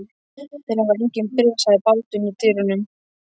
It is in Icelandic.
Þeir hafa engin bréf, sagði Baldvin í dyrunum.